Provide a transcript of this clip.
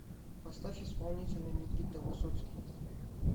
поставь исполнителя никита высоцкий